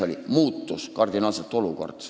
Olukord muutus kardinaalselt.